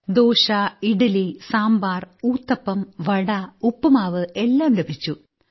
ഞങ്ങൾ അവിടെ ചെന്നപ്പോൾ ഞങ്ങൾക്ക് ദോശ ഇഡ്ഡലി സാമ്പാർ ഊത്തപ്പം വട ഉപ്പുമാവ് എല്ലാം ലഭിച്ചു